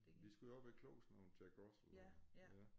De skulle jo også være kloge sådan nogle Jack Russell der